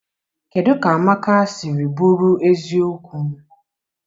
kedụ ka Amaka siri bụrụ eziokwu?